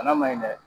Bana ma ɲi dɛ